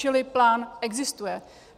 Čili plán existuje.